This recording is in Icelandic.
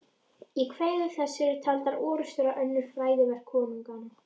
Í kvæðum þessum eru taldar orrustur og önnur frægðarverk konunganna.